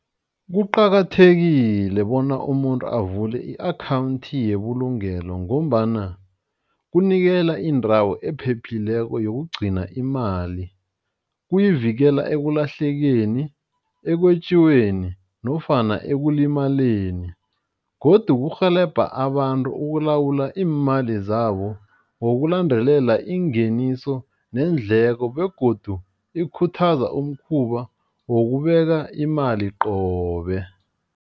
Kuqakathekile bona umuntu avule i-akhawundi yebulungelo ngombana kunikela indawo ephephileko yokugcina imali kuyivikela ekulahlekeni, ekwetjiweni nofana ekulimaleni godu kurhelebha abantu ukulawula iimali zabo ngokulandela ingeniso neendleko begodu ikhuthaza umkhuba wokubeka imali qobe.